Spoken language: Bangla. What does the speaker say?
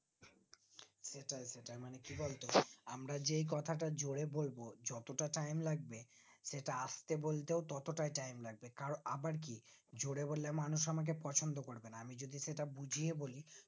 সেটাই সেটাই মানে কি বলতো আমরা যেই কথাটা জোরে বলবো যতটা time লাগবে সেটা আস্তে বলতেও ততটাও time লাগবে আবার কি জোরে বললে আমাকে মানুষ পছন্দ করবে না আমি যদি সেটা বুঝিয়ে বলি